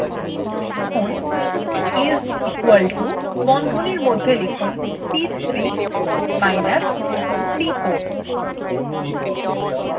লিখুন is equal to এবং বন্ধনীর মধ্যে সংশ্লিষ্ট সেলদুটির নাম অর্থাৎ c3 minus c4